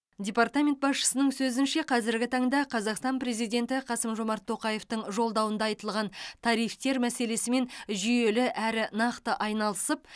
департамент басшысының сөзінше қазіргі таңда қазақстан президенті қасым жомарт тоқаевтың жолдауында айтылған тарифтер мәселесімен жүйелі әрі нақты айналысып